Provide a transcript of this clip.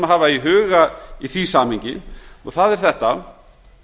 hafa í huga í því samhengi og það er þetta